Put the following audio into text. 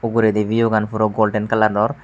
uguredi biu gan puro golden kalaror.